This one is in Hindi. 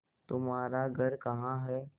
तुम्हारा घर कहाँ है